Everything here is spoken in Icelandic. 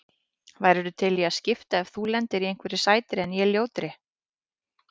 Værir þú til í að skipta ef þú lendir á einhverri sætri en ég ljótri?